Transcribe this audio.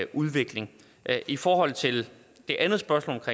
udvikling i forhold til det andet spørgsmål